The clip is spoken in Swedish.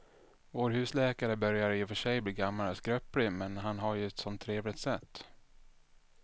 Vår husläkare börjar i och för sig bli gammal och skröplig, men han har ju ett sådant trevligt sätt!